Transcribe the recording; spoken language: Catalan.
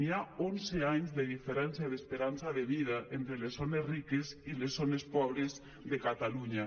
hi ha onze anys de diferència d’esperança de vida entre les zones riques i les zones pobres de catalunya